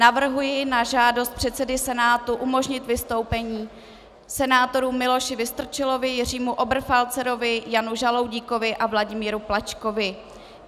Navrhuji na žádost předsedy Senátu umožnit vystoupení senátorům Miloši Vystrčilovi, Jiřímu Oberfalzerovi, Janu Žaloudíkovi a Vladimíru Plačkovi.